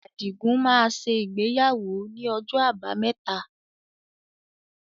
Adigun máa ṣe ìgbéyàwó ni ọjọ́ abámẹ́ta